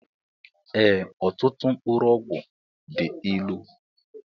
Ee ọtụtụ mkpụrụ ọgwụ dị ịlụ